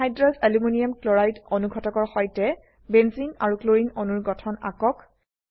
anhydrous aluminium chloride অনুঘটকৰ সৈতে benzene আৰু ক্লোৰিন অণুৰ গঠন আঁকক